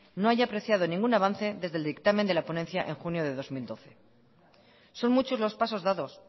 no haya apreciado ningún avance desde el dictamen de la ponencia en junio del dos mil doce son muchos los pasos dados